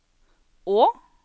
å